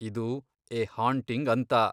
ಇದು "a haunting" ಅಂತ.